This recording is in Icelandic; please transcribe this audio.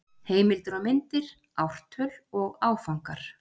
Heimildir og myndir: Ártöl og Áfangar.